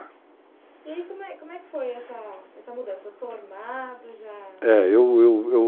E como é que foi essa mudança? Formado já? Eu, eu...